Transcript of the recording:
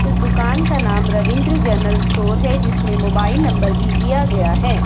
इस दुकान का नाम रविंद्र जनरल स्टोर है जिसमें मोबाइल नंबर भी दिया गया है।